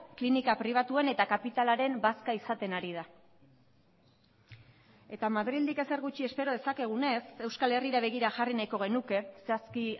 klinika pribatuen eta kapitalaren bazka izaten ari da eta madrildik ezer gutxi espero dezakegunez euskal herrira begira jarri nahiko genuke zehazki